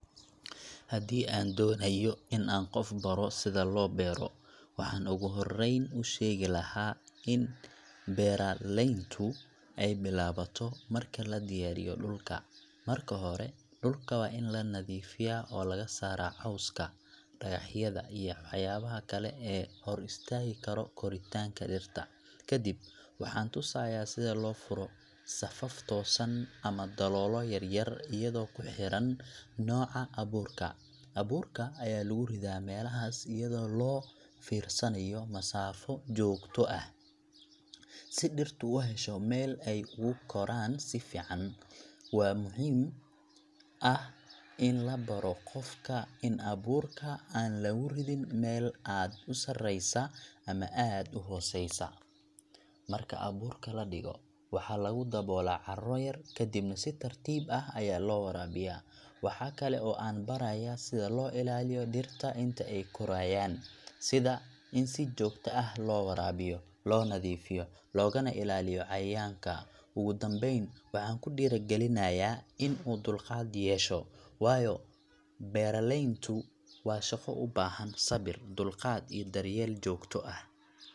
Haddii aan doonayo in aan qof baro sida loo beero, waxaan ugu horreyn u sheegi lahaa in beeralayntu ay bilaabato marka la diyaariyo dhulka. Marka hore, dhulka waa in la nadiifiyaa oo laga saaraa cawska, dhagaxyada iyo waxyaabaha kale ee hor istaagi kara koritaanka dhirta. Kadib, waxaan tusayaa sida loo furo safaf toosan ama daloolo yar yar iyadoo ku xiran nooca abuurka. Abuurka ayaa lagu ridaa meelahaas iyadoo loo fiirsanayo masaafo joogto ah, si dhirtu u hesho meel ay ugu koraan si fiican. Waxaa muhiim ah in la baro qofka in abuurka aan lagu ridin meel aad u sarreysa ama aad u hooseysa. Marka abuurka la dhigo, waxaa lagu daboolaa carro yar kadibna si tartiib ah ayaa loo waraabiyaa. Waxa kale oo aan barayaa sida loo ilaaliyo dhirta inta ay korayaan sida in si joogto ah loo waraabiyo, loo nadiifiyo, loogana ilaaliyo cayayaanka. Ugu dambayn, waxaan ku dhiirrigelinayaa in uu dulqaad yeesho, waayo beeralayntu waa shaqo u baahan sabir, dulqaad iyo daryeel joogto ah.